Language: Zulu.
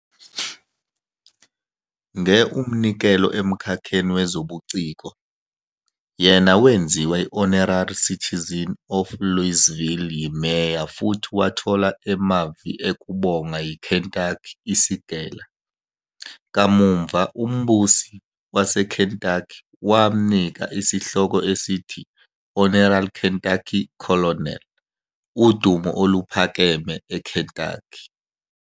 Nge umnikelo emkhakheni wezobuciko, yena wenziwe Honorary Citizen of Louisville yiMeya futhi wathola emavi ekubonga yi Kentucky iSigele. Kamuva uMbusi waseKentucky wamnika isihloko esithi Honorary Kentucky Colonel, udumo oluphakeme eKentucky.